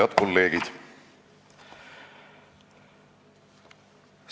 Head kolleegid!